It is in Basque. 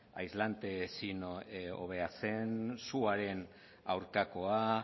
aislante ezin hobea zen suaren aurkakoa